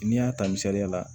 N'i y'a ta misaliya la